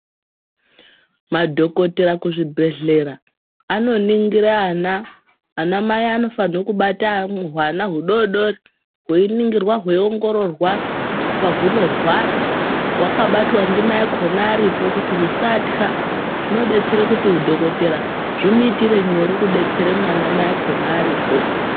Madhokoteya kuzvibhedhlera anoningire ana ana mai anofane kubate ahwana hudodori hweiningirwa heriongororwa pahunorwara hwakabatwa ndimayakhona aripo kuti husatka zvinodetsere kuti udhokodhera zvimuitire nyore kudetsere hwana mai akhona aripo.